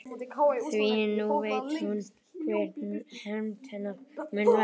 Því nú veit hún hver hefnd hennar mun verða.